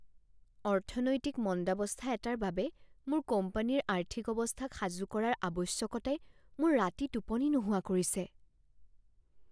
অৰ্থনৈতিক মন্দাৱস্থা এটাৰ বাবে মোৰ কোম্পানীৰ আৰ্থিক অৱস্থাক সাজু কৰাৰ আৱশ্য়কতাই মোৰ ৰাতি টোপনি নোহোৱা কৰিছে।